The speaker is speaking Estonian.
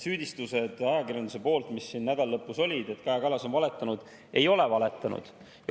Ajakirjanduse süüdistused, mis siin nädala lõpus olid, et Kaja Kallas on valetanud – ei ole valetanud.